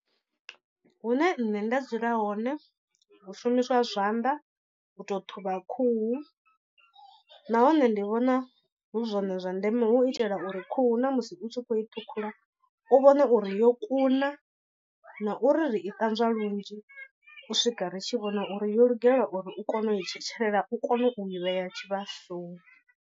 Hune nṋe nda dzula hone hu shumiswa zwanḓa u to ṱhuvha khuhu, nahone ndi vhona hu zwone zwa ndeme hu itela uri khuhu na musi u tshi u khou i ṱhukhula u vhone uri yo kuna. Na uri ri i ṱanzwa lunzhi u swika ri tshi vhona uri yo lugela uri u kone u i tshetshelela u kone u i vhea tshivhasoni.